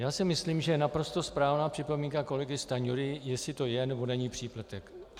Já si myslím, že je naprosto správná připomínka kolegy Stanjury, jestli to je, nebo není přílepek.